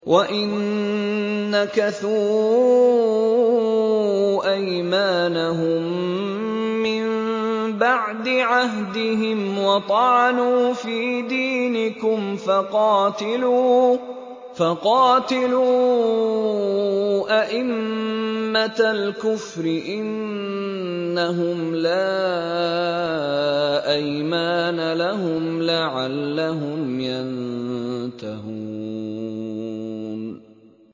وَإِن نَّكَثُوا أَيْمَانَهُم مِّن بَعْدِ عَهْدِهِمْ وَطَعَنُوا فِي دِينِكُمْ فَقَاتِلُوا أَئِمَّةَ الْكُفْرِ ۙ إِنَّهُمْ لَا أَيْمَانَ لَهُمْ لَعَلَّهُمْ يَنتَهُونَ